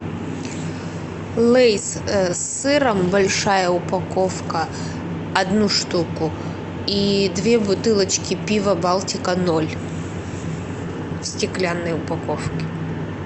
лейс с сыром большая упаковка одну штуку и две бутылочки пива балтика ноль в стеклянной упаковке